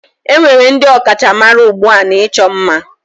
Enwere ndị ọkachamara ugbu a n'ịchọ ima